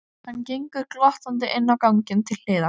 Hann gengur glottandi inn á ganginn til hliðar.